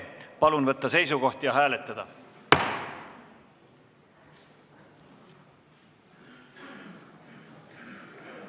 Palun võtta seisukoht ja hääletada!